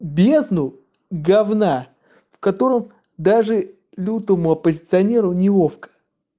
бездну гавна в котором даже лютому оппозиционеру неловко